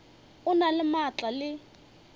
o na le maatla le